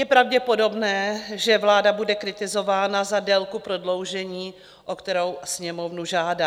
Je pravděpodobné, že vláda bude kritizována za délku prodloužení, o kterou Sněmovnu žádá.